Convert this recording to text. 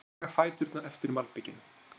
Þau draga fæturna eftir malbikinu.